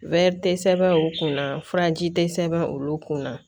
tɛ sɛbɛn o kunna furaji tɛ sɛbɛn olu kunna